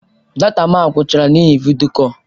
Data m agwụchaala n'ihi vidiyo kọl.